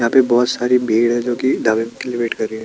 यहाँ पे बहोत सारी भीड़ है जो की दावत के लिए वेट कर रही है।